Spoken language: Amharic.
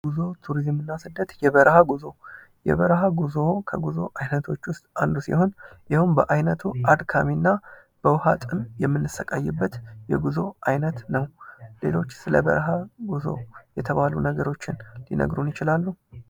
ጉዞ፣ ቱሪዝም እና ስደት፦ የበረሀ ጉዞ ፦ የበረሀ ጉዞ ከጉዞ አይነቶች ውስጥ አንዱ ሲሆን የሄውም በአይነቱ አድካሚ ሲሆን በውሀ ጥም የምንሰቃይበት የጉዞ አይነት ነው። ሌሎች ስለበረሀ ጉዞ የተባሉ ነገሮችን ሊነግሩን ይችላሉ?